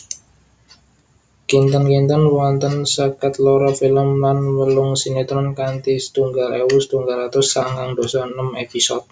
Kinten kinten wonten seket loro film lan wolung sinétron kanthi setunggal ewu setunggal atus sangang dasa enem épisode